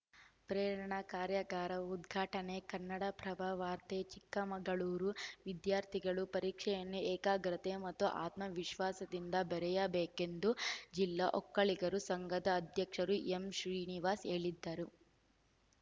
ಪ್ರೇರಣಾ ಕಾರ್ಯಾಗಾರ ಉದ್ಘಾಟನೆ ಕನ್ನಡಪ್ರಭ ವಾರ್ತೆ ಚಿಕ್ಕಮಗಳೂರು ವಿದ್ಯಾರ್ಥಿಗಳು ಪರೀಕ್ಷೆಯನ್ನು ಏಕಾಗ್ರತೆ ಮತ್ತು ಆತ್ಮವಿಶ್ವಾಸದಿಂದ ಬೆರೆಯಬೇಕೆಂದು ಜಿಲ್ಲಾ ಒಕ್ಕಲಿಗರ ಸಂಘದ ಅಧ್ಯಕ್ಷ ಕೆಎಂ ಶ್ರೀನಿವಾಸ್‌ ಹೇಳಿದರು